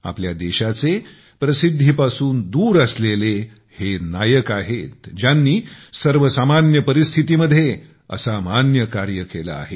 आपल्या देशाचे हे प्रसिद्धीपासून दूर असलेले हे नायक आहेत ज्यांनी सर्वसामान्य परिस्थितीमध्ये असामान्य कार्य केले आहे